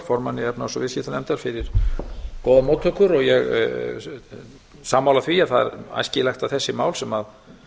formanni efnahags og viðskiptanefndar fyrir góðar móttökur ég er sammála því að það er æskilegt að þessi mál sem